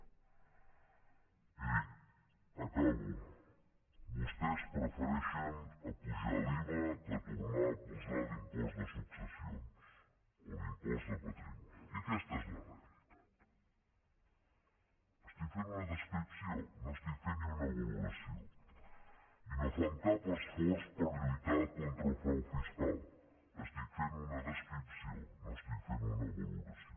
miri acabo vostès prefereixen apujar l’iva que tornar a posar l’impost de successions o l’impost de patrimoni i aquesta és la realitat estic fent una descripció no estic fent ni una valoració i no fan cap esforç per lluitar contra el frau fiscal estic fent una descripció no estic fent una valoració